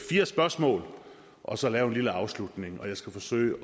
fire spørgsmål og så lave en lille afslutning jeg skal forsøge